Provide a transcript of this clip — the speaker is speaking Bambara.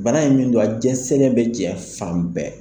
Bana in min don a jɛnsɛnlen bɛ jɛn fan bɛɛ.